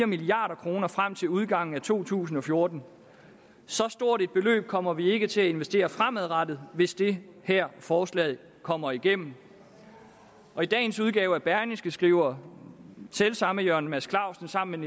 milliard kroner frem til udgangen af to tusind og fjorten så stort et beløb kommer vi ikke til at investere fremadrettet hvis det her forslag kommer igennem i dagens udgave af berlingske skriver selv samme jørgen mads clausen sammen